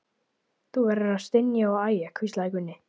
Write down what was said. Þú verður að stynja og æja, hvíslaði Gunni.